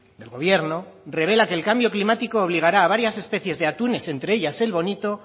del gobierno revela que el cambio climático obligara a varias especies de atunes entre ellas el bonito